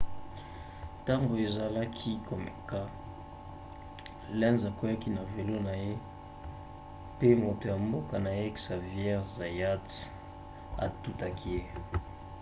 ntango azalaki komeka lenz akweaki na velo na ye pe moto ya mboka na ye xavier zayat atutaki ye